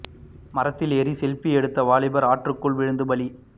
மரத்தில் ஏறி செல்பி எடுத்த வாலிபர் ஆற்றுக்குள் விழுந்து பலி